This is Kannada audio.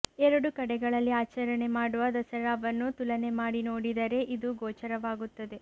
ಎರಡು ಕಡೆಗಳಲ್ಲಿ ಆಚರಣೆ ಮಾಡುವ ದಸರಾವನ್ನು ತುಲನೆ ಮಾಡಿ ನೋಡಿದರೆ ಇದು ಗೋಚರವಾಗುತ್ತದೆ